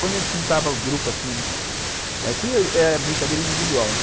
Quando a gente juntava grupo assim, era brincadeira individual.